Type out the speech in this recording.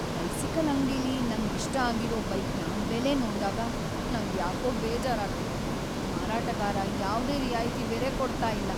Bicycle ಅಂಗಡಿಲಿ ನಂಗ್ ಇಷ್ಟ ಆಗಿರೋ ಬೈಕ್ನ ಬೆಲೆ ನೋಡ್ದಾಗ ನಂಗ್ ಯಾಕೋ ಬೇಜಾರಾಗ್ತಿದೆ. ಮಾರಾಟಗಾರ ಯಾವ್ದೆ ರಿಯಾಯಿತಿ ಬೇರೆ ಕೊಡ್ತಾ ಇಲ್ಲ.